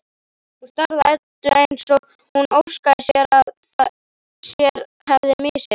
Hún starði á Eddu eins og hún óskaði þess að sér hefði misheyrst.